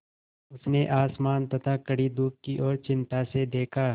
उसने आसमान तथा कड़ी धूप की ओर चिंता से देखा